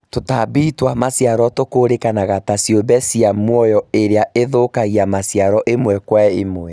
Tũtambi twa maciaro tũkũũrĩkanaga ta ciũmbe ciĩ mũoyo iria ĩthũkagia maciaro ĩmwe Kwa ĩmwe